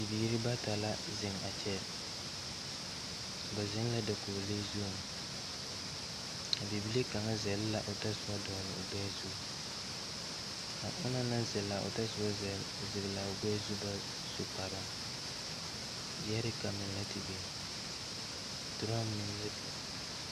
Bibiire bata la zeŋ a kyɛ ba zeŋ la dakoglee zuŋ a bibile kaŋa zɛl la otɔsoba dɔgle o gbɛɛ zu a onong naŋ zɛl a otɔsobo zeglaa o gbɛɛ zu ba su kparoo gyeerika meŋ la te biŋ drɔm meŋ la biŋ.